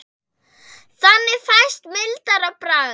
Þannig fæst mildara bragð.